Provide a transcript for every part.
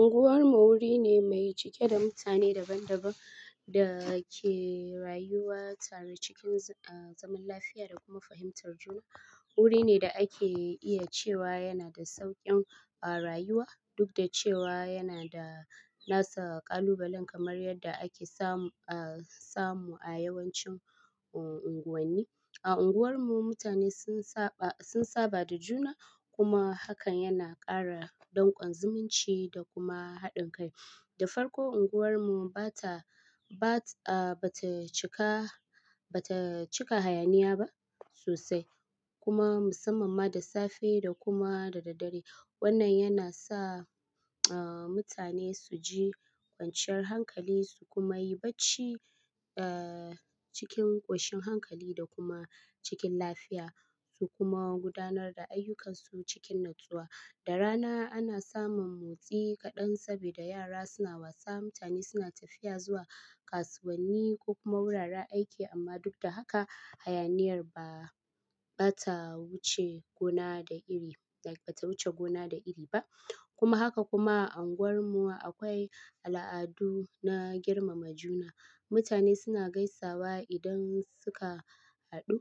Unguwar mu wuri ne mai cike da mutane daban-daban da ke rayuwa tare cikin, ah, zaman lafiya da kuma fahimtar juna. Wuri ne da ake iya cewa yana da sauƙin, ah, rayuwa duk da cewa yana da nasa ƙalubalen kamar yadda ake samu, ah, samu a yawancin unguwanni. A unguwarmu mutane sun saba, sun saba da juna kuma hakan yana ƙara dankon zumunci da kuma haɗin kai. Da farko unguwar mu ba ta, ba ta, ah, ba ta cika, ba ta cika hayaniya ba sosai kuma musamman ma da safe da kuma da dare. Wannan yana sa, ah, mutane su ji kwanciyar hankali su kuma yi bacci, ah, cikin ƙoshin hankali da kuma cikin lafiya su kuma gudanar da ayyukansu cikin natsuwa. Da rana ana samun motsi kaɗan saboda yara suna wasa, mutane suna tafiya zuwa kasuwanni ko kuma wuraren aiki amma duk da haka hayaniyar ba, ba ta wuce gona da iri, like ba ta wuce gona da iri ba. Kuma haka kuma a unguwarmu akwai al'adu na girmama juna. Mutane suna gaisawa idan suka haɗu,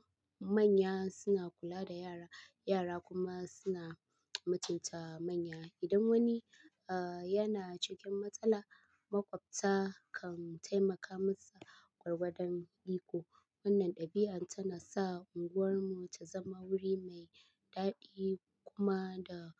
manya suna kula da yara, yara kuma suna mutunta manya. Idan wani, ah, yana cikin matsala, maƙwabta kan taimaka masa ƙwarwadan riko. Wannan ɗabi'an tana sa unguwarmu ta zama wuri mai daɗi kuma da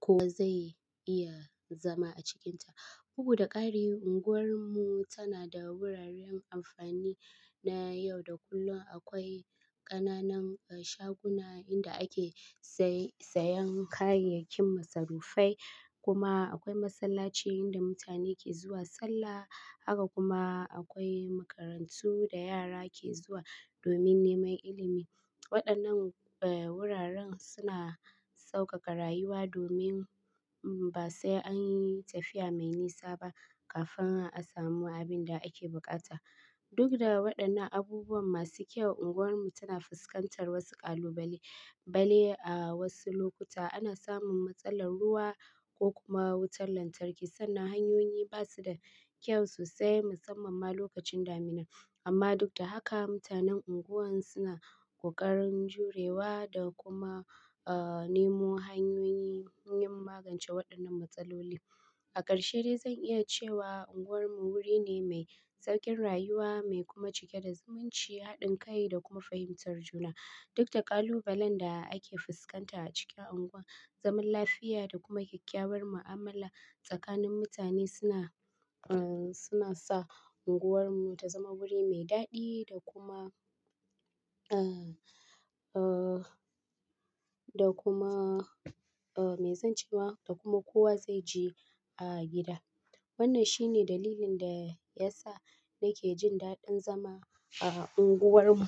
kowa zai iya zama a cikinta. Bugu da ƙari unguwar mu tana da wuraren amfani na yau da kullum. Akwai ƙananan, ah, shaguna inda ake saye, sayan kayayyakin masarufai kuma akwai masallaci inda mutane ke zuwa sallah. Haka kuma akwai makarantu da yara ke zuwa domin neman ilimi. Waɗannan, ah, wuraren suna sauƙaƙa rayuwa domin ba sai an yi tafiya mai nisa ba kafin a samu abin da ake buƙata. Duk da waɗannan abubuwa masu kyau, unguwarmu tana fuskantar wasu ƙalubale. Bale a wasu lokuta ana samun matsalar ruwa ko kuma wutar lantarki sannan hanyoyi ba su da kyau sosai musamman ma lokacin daminar. Amma duk da haka mutanen unguwar suna ƙoƙarin jurewa da kuma, ah, nemo hanyoyin magance waɗannan matsalolin. A ƙarshe dai zan iya cewa unguwar mu wuri ne mai sauƙin rayuwa mai kuma cike da zumunci, haɗin kai da kuma fahimtar juna. Duk da ƙalubalen da ake fuskanta a cikin unguwan, zaman lafiya da kuma kyakkyawar mu'amala tsakanin mutane suna, ah, suna sa unguwarmu ta zama guri mai daɗi da kuma, ah, ah, da kuma, ah, mai zance wa da kuma kowa zai ji a gida. Wannan shine dalilin da ya sa nake jin daɗin zama a unguwar mu.